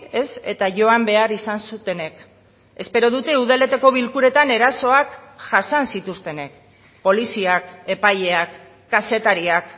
ez eta joan behar izan zutenek espero dute udaletako bilkuretan erasoak jasan zituztenek poliziak epaileak kazetariak